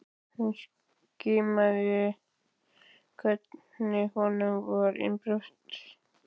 Hún skynjaði hvernig honum var innanbrjósts!